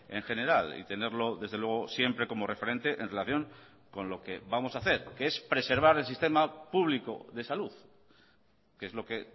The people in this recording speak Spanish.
en general y tenerlo desde luego siempre como referente en relación con lo que vamos a hacer que es preservar el sistema público de salud que es lo que